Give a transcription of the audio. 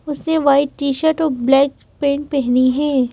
उसने white t-shirt और black pant पहनी है।